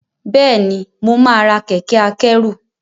bẹẹni mọ má rà Kẹ̀kẹ́ akẹ́rù.